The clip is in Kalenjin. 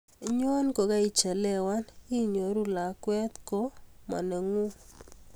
nyo ko kaichelewan inyoru lakwee ko mo nenguu